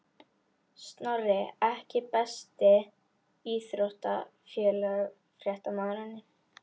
Snorri EKKI besti íþróttafréttamaðurinn?